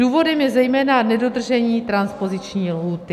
Důvodem je zejména nedodržení transpoziční lhůty.